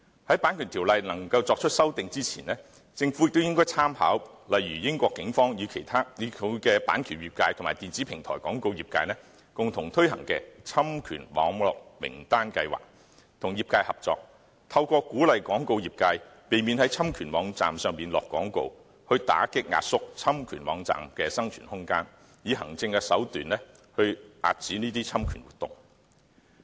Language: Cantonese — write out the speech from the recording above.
在《版權條例》作出修訂之前，政府也應參考例如英國警方與版權業界及電子平台廣告業界共同推行的侵權網絡名單計劃，與業界合作，透過鼓勵廣告業界避免在侵權網站下廣告，打擊壓縮侵權網站的生存空間，以行政手段遏止侵權活動。